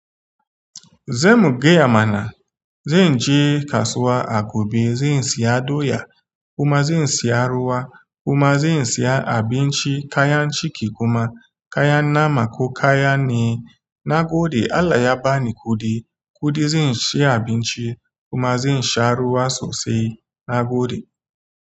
Zamu gaya mana. Zan je kasuwa a gobe. Zan siya doya kuma zan siya ruwa kuma zan siya abinci kayan ciki kuma kayan nama ko kaya ne. Na gode Allah ya bani kuɗi, kuɗi zan siya abinci kuma zan sha ruwa sosai. Na gode.